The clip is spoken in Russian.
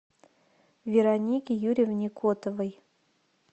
веронике юрьевне котовой